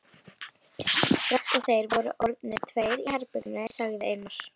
Strax og þeir voru orðnir tveir í herberginu sagði Einar